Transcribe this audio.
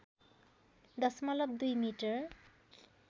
दशमलव २ मिटर